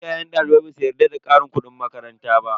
Iyayen dalibai basu yarda da karin kudin makaranta ba.